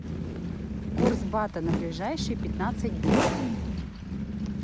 курс бата на ближайшие пятнадцать дня